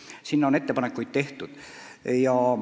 Selle kohta on ettepanekuid tehtud.